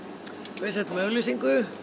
við settum auglýsingu